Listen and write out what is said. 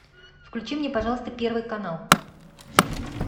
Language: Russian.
включи мне пожалуйста первый канал